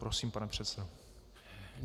Prosím, pane předsedo.